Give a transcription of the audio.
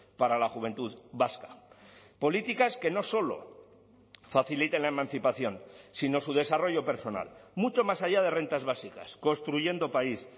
para la juventud vasca políticas que no solo faciliten la emancipación sino su desarrollo personal mucho más allá de rentas básicas construyendo país